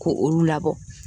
Ko olu labɔ